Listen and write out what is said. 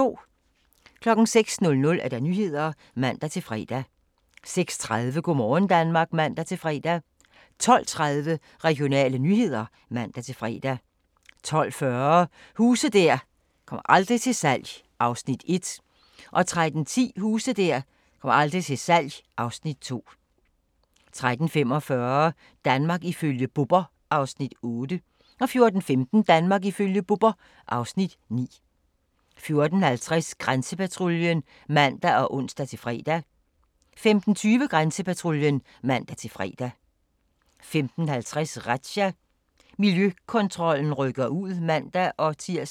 06:00: Nyhederne (man-fre) 06:30: Go' morgen Danmark (man-fre) 12:30: Regionale nyheder (man-fre) 12:40: Huse der aldrig kommer til salg (Afs. 1) 13:10: Huse der aldrig kommer til salg (Afs. 2) 13:45: Danmark ifølge Bubber (Afs. 8) 14:15: Danmark ifølge Bubber (Afs. 9) 14:50: Grænsepatruljen (man og ons-fre) 15:20: Grænsepatruljen (man-fre) 15:50: Razzia – Miljøkontrollen rykker ud (man-tir)